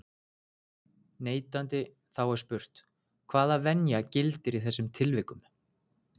neitandi, þá er spurt, hvaða venja gildir í þessum tilvikum?